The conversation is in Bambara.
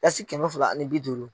Dasi kɛmɛ fila ani bi duuru.